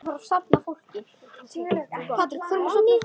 Jóhann: Ertu með bíl?